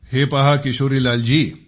हे पहा किशोरीलाल जी